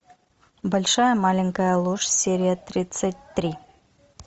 большая маленькая ложь серия тридцать три